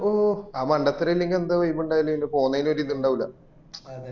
ഓ അത് മണ്ടത്തരം ഇല്ലെങ്കി എന്ത് vibe ഇണ്ടാവല് പിന്നെ പോന്നേല് ഒരു ഇത് ഇണ്ടാവൂല